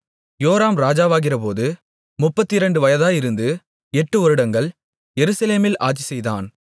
யோராம் ராஜாவாகிறபோது முப்பத்திரண்டு வயதாயிருந்து எட்டு வருடங்கள் எருசலேமில் ஆட்சிசெய்தான்